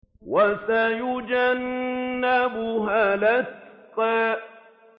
وَسَيُجَنَّبُهَا الْأَتْقَى